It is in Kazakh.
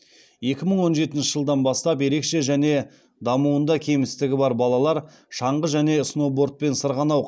екі мың он жетінші жылдан бастап ерекше және дамуында кемістігі бар балалар шаңғы және сноубордпен сырғанау